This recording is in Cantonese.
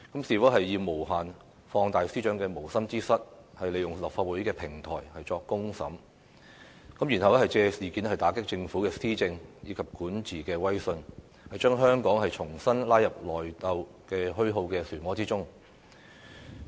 是否要無限放大司長的無心之失，利用立法會的平台作"公審"，然後借事件打擊政府施政和管治威信，將香港重新拉入內鬥虛耗的漩渦之中？